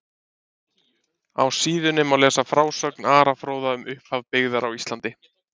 Á síðunni má lesa frásögn Ara fróða um upphaf byggðar á Íslandi.